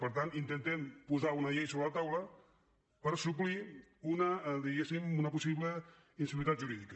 per tant intentem posar una llei sobre la taula per suplir una diguéssim possible inseguretat jurídica